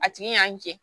A tigi y'a jɛ